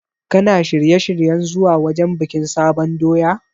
Kana shirye-shiryen zuwa wajen bikin sabon doya?